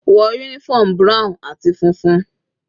Wọ uniform brown àti funfun.